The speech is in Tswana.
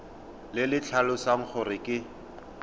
le le tlhalosang gore ke